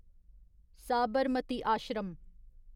Sabarmati Ashram